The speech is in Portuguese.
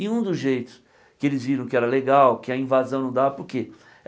E um dos jeitos que eles viram que era legal, que a invasão não dava por quê?